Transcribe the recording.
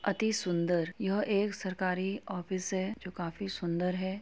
अति सुंदर यह एक सरकारी ऑफिस है। जो काफी सुंदर है।